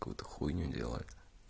какую-то хуйню делает